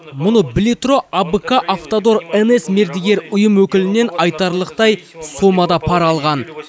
мұны біле тұра абк автодор нс мердігер ұйым өкілінен айтарлықтай сомада пара алған